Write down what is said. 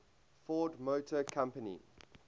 ford motor company